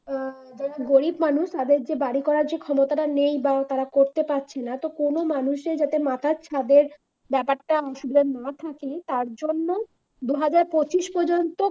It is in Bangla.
যারা গরিব মানুষ তাদের যে বাড়ি করার ক্ষমতা নেই বা তারা করতে পারছে না কোন মানুষের যাতে মাথা ছাদের ব্যাপারটা অসুবিধা না থাকে তার জন্যই দু হাজার পঁচিশ পর্যন্ত